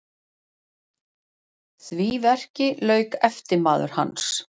Því verki lauk eftirmaður hans